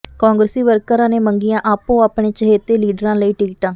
ਕਾਂਗਰਸੀ ਵਰਕਰਾਂ ਨੇ ਮੰਗੀਆਂ ਆਪੋ ਆਪਣੇ ਚਹੇਤੇ ਲੀਡਰਾਂ ਲਈ ਟਿਕਟਾ